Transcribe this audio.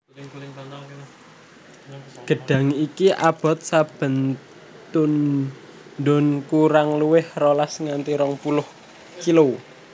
Gêdhang iki aboté saben tundhun kurang luwih rolas nganti rong puluh kg